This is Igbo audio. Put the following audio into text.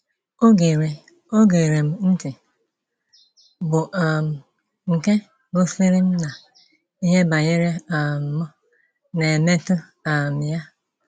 O gere O gere m ntị, bụ́ um nke gosiri m na ihe banyere um m na - emetụ um ya.